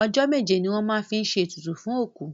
Ọjọ́ méje ni wọ́n máa ń fi ṣe ètùtù fún òkú.